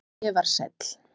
Hvað ég var sæl.